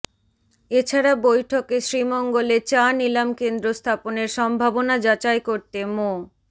এছাড়া বৈঠকে শ্রীমঙ্গলে চা নিলাম কেন্দ্র স্থাপনের সম্ভাবনা যাচাই করতে মো